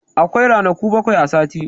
Akwai ranaku bakwai a sati.